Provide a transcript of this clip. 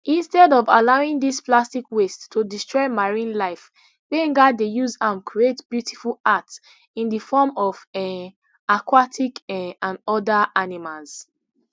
instead of allowing dis plastic waste to destroy marine life gbenga dey use am create beautiful art in di form of um aquatic um and oda animals